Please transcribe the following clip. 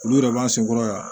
Olu yɛrɛ b'an sen kɔrɔ yan